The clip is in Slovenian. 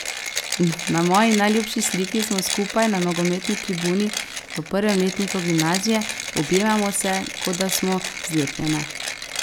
Na moji najljubši sliki smo skupaj na nogometni tribuni v prvem letniku gimnazije, objemamo se, kot da smo zlepljene.